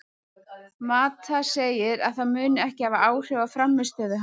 Mata segir að það muni ekki hafa áhrif á frammistöðu hans.